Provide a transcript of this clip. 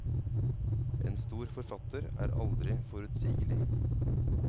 En stor forfatter er aldri forutsigelig.